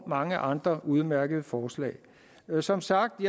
mange andre udmærkede forslag som sagt